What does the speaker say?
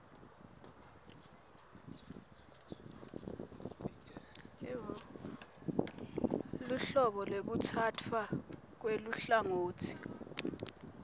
luhlobo lwekutsatfwa kweluhlangotsi